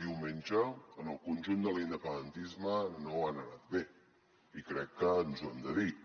diumenge en el conjunt de l’independentisme no han anat bé i crec que ens ho hem de dir